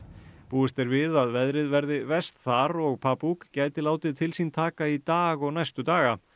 búist er við að veðrið verði verst þar og gæti látið til sín taka í dag og næstu daga